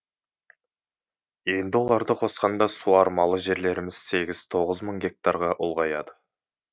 енді оларды қосқанда суармалы жерлеріміз сегіз тоғыз мың гектарға ұлғаяды